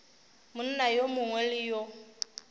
monna yo mongwe le yo